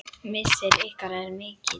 Missir ykkar er mikill.